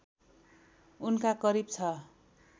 उनका करिब ६